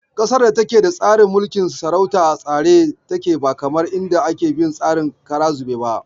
Ƙasar da ake tsarin mulkin sarauta a tsare take ba kamar inda ake bin tsarin kara zube ba.